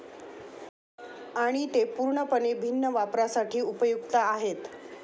आणि ते पूर्णपणे भिन्न वापरासाठी उपयुक्त आहेत.